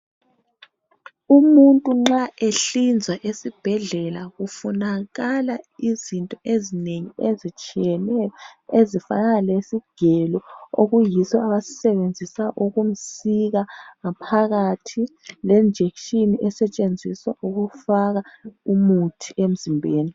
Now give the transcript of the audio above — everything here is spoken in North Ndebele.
Umuntu nxa ehlinzwa esibhedlela kufunakala izinto ezinengi. ezitshiyeneyo, Ezifanana lesigelo okuyiso abasisebenzisa ukumsika ngaphakathi. Le injection esetshenziswa ukumfaka umuthi emzimbeni.